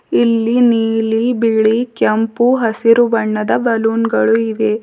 ಇಲ್ಲಿ ನೀಲಿ ಬಿಳಿ ಕೆಂಪು ಹಸಿರು ಬಣ್ಣದ ಬಲೂನ್ ಗಳು ಇವೆ.